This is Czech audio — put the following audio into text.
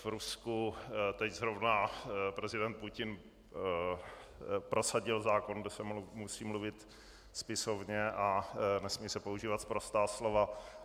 V Rusku teď zrovna prezident Putin prosadil zákon, že se musí mluvit spisovně a nesmějí se používat sprostá slova.